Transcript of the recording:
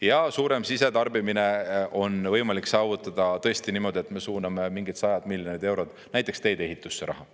Ja suurem sisetarbimine on võimalik saavutada tõesti niimoodi, et me suuname sajad miljonid eurod näiteks teedeehitusse raha.